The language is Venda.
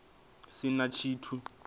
si na tshithu a zwo